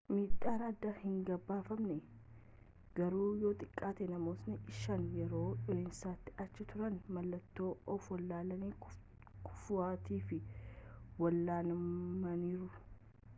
miidhaan addaa hin gabaafamne garuu yoo xiqqaate namootni shan yeroo dho'iinsaatti achi turan mallattoo ofwallaalanii-kufuutiif wal'aanamaniru